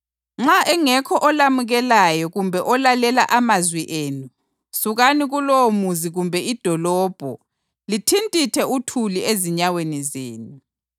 Nxa engekho olamukelayo kumbe olalela amazwi enu, sukani kulowomuzi kumbe idolobho lithintithe uthuli ezinyaweni zenu.